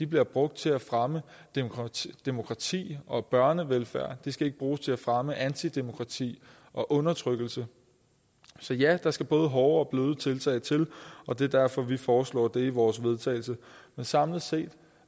bliver brugt til at fremme demokrati demokrati og børnevelfærd de skal ikke bruges til at fremme antidemokrati og undertrykkelse så ja der skal både hårde og bløde tiltag til og det er derfor vi foreslår det i vores vedtagelse men samlet set